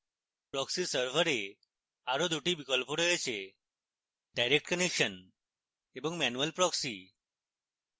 proxy server এ আরো দুটি বিকল্প রয়েছেdirect connection এবং manual proxy